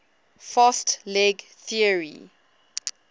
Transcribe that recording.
fast leg theory